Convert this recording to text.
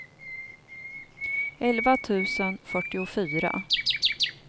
elva tusen fyrtiofyra